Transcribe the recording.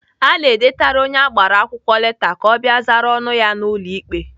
Ana edetara onye agbara akwụkwọ leta ka ọ bịa zara ọnụ ya n'ụlọ ikpe.